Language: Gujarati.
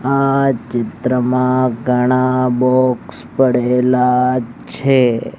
આ ચિત્રમાં ઘણા બોક્સ પડેલા છે.